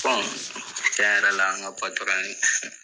Bɔn cɛa yɛrɛ la , an ka patɔrɔ